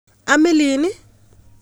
Amilin i?